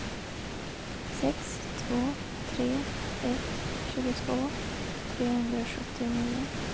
sex två tre ett tjugotvå trehundrasjuttionio